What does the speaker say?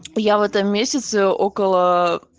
я в этом месяце около